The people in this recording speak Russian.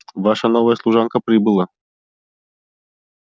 ваша новая служанка прибыла